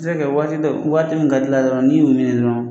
se kɛ waati dɔw waati mun ka d'i la dɔrɔn n'i y'u minɛ dɔrɔn.